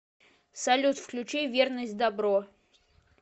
салют включи верность дабро